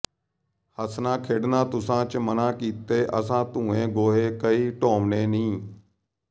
ਹੱਸ ਖੇਡਨਾ ਤੁਸਾਂ ਚਾ ਮਨ੍ਹਾ ਕੀਤਾ ਅਸਾਂ ਧੂਏਂ ਗੋਹੇ ਕਹੇ ਢੋਵਣੇ ਨੀ